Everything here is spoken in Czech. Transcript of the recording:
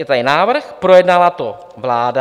Je tady návrh, projednala to vláda.